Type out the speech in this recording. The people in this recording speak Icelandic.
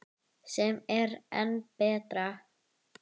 Sem er enn betra.